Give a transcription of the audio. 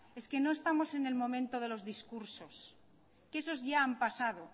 es que no estamos en el momento de los discursos que esos ya han pasado